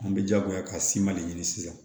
An bɛ jagoya ka siman de ɲini sisan